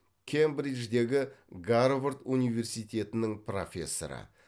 кембридждегі гарвард университетінің профессоры